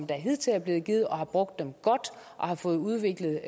der hidtil er blevet givet og har brugt dem godt og har fået udviklet